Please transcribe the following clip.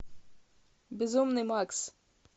безумный макс